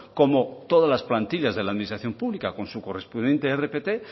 como todas las plantillas de la administración pública con su correspondiente rpt